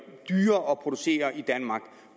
dyrere at producere i danmark